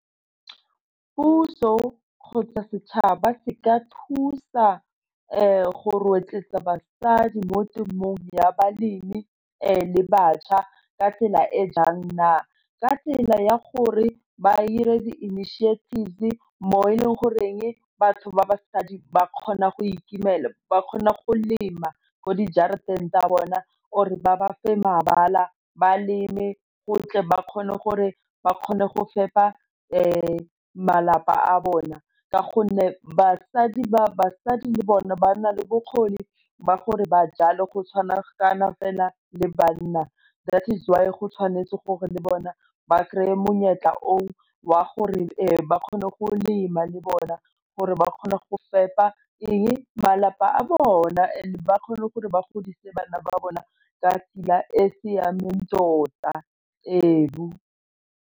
Puso kgotsa setšhaba se ka thusa go rotloetsa basadi mo temong ya balemi le batjha ka tsela e jang na, ka tsela ya gore ba dire di-initiative mo e leng goreng batho ba basadi ba kgona go ikemela, ba kgona go lema ko di jarateng tsa bona or ba ba fa mabala ba leme go tle ba kgone gore ba kgone go fepa malapa a bona ka gonne basadi le bone ba na le bokgoni ba gore ba jale go tshwana kana fela le banna that is why go tshwanetse gore le bona ba kry-e monyetla oo wa gore ba kgone go lema le bona gore ba kgone go fepa eng, malapa a bona and ba kgone gore ba godise bana ba bona ka tsela e siameng tota ebu.